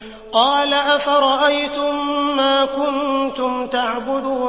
قَالَ أَفَرَأَيْتُم مَّا كُنتُمْ تَعْبُدُونَ